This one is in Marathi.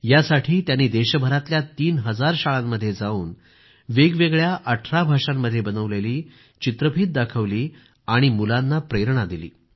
यासाठी त्यांनी देशभरातल्या तीन हजार शाळांमध्ये जावून वेगवेगळ्या 18 भाषांमध्ये बनवलेली चित्रफीत त्यांनी दाखवली आणि मुलांना प्रेरणा दिली